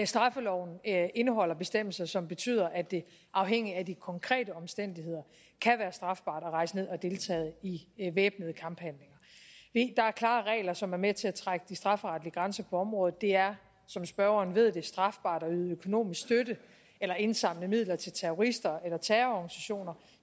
straffeloven indeholder bestemmelser som betyder at det afhængigt af de konkrete omstændigheder kan være strafbart at rejse ned og deltage i væbnede kamphandlinger der er klare regler som er med til at trække de strafferetlige grænser på området det er som spørgeren ved strafbart at yde økonomisk støtte eller indsamle midler til terrorister eller terrororganisationer